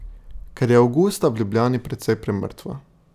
Ker je avgusta v Ljubljani precej premrtvo.